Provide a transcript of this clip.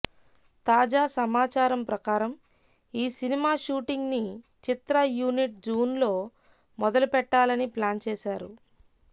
తాజా సమాచారం ప్రకారం ఈ సినిమా షూటింగ్ ని చిత్ర యూనిట్ జూన్ లో మొదలుపెట్టాలని ప్లాన్ చేసారు